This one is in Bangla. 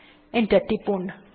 এন্টার টিপুন